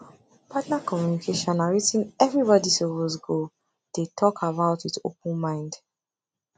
partner communication na wetin everybody suppose go dey talk about with open mind